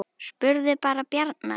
Spurðu bara Bjarna Ara!